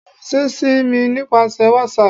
firanṣẹ si mi nipasẹ whatsapp!